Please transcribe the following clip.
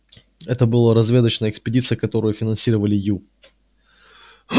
это была разведочная экспедиция которую финансировали ю